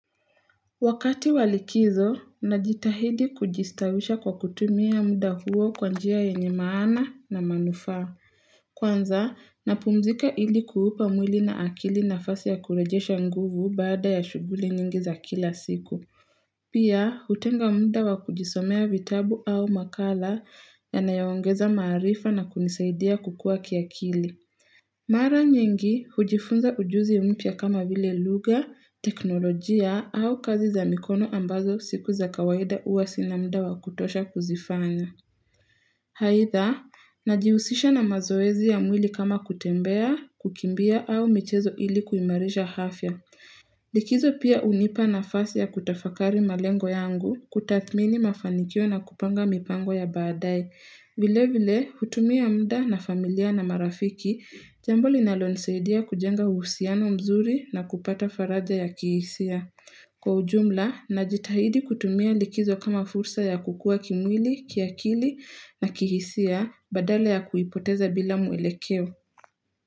Wakati wa likizo, najitahidi kujistawisha kwa kutumia muda huo kwa njia yenye maana na manufaa. Kwanza, napumzika ili kuupa mwili na akili nafasi ya kurejesha nguvu baada ya shughuli nyingi za kila siku. Pia, hutenga muda wa kujisomea vitabu au makala yanayaoongeza maarifa na kunisaidia kukua kiakili. Mara nyengi hujifunza ujuzi mpya kama vile lugha, teknolojia au kazi za mikono ambazo siku za kawaida huwa sina muda wa kutosha kuzifanya. Aidha, najihusisha na mazoezi ya mwili kama kutembea, kukimbia au michezo ili kuimarisha afya. Likizo pia hunipa nafasi ya kutafakari malengo yangu, kutathmini mafanikio na kupanga mipango ya baadaye. Vile vile, hutumia muda na familia na marafiki, jambo linalonisadia kujenga uhusiano mzuri na kupata faraja ya kihisia. Kwa ujumla, najitahidi kutumia likizo kama fursa ya kukua kimwili, kiakili na kihisia, badala ya kuipoteza bila mwelekeo.